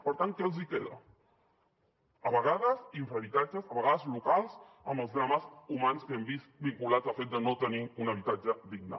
per tant què els hi queda a vegades infrahabitatges a vegades locals amb els drames humans que hem vist vinculats al fet de no tenir un habitatge digne